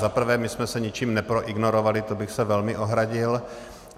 Za prvé, my jsme se ničím neproignorovali, to bych se velmi ohradil.